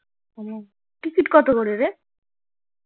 হুম ticket কত করে রে